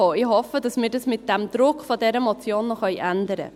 Ich hoffe, dass wir das mit dem Druck dieser Motion noch ändern können.